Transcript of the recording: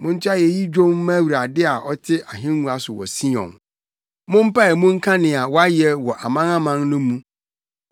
Monto ayeyi dwom mma Awurade a ɔte ahengua so wɔ Sion; mompae mu nka nea wayɛ wɔ amanaman no mu.